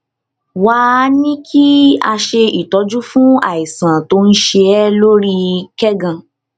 wá a ní kí a ṣe ìtọjú fún àìsàn tó ń ṣe é lórí kẹgàn